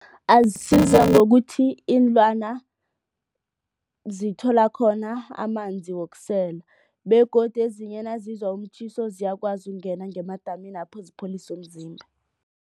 Asiza ngokuthi iinlwana zithola khona amanzi wokusela begodu ezinye nazizwa umtjhiso ziyakwazi ukungena ngemadaminapho zipholise umzimba.